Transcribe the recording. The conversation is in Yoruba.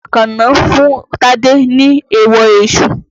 Àkànó fún Tádé ní èèwọ èṣù.